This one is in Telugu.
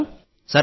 సరే సార్